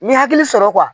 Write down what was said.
N ye hakili sɔrɔ